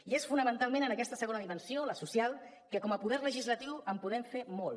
i és fonamentalment en aquesta segona dimensió la social que com a poder legislatiu hi podem fer molt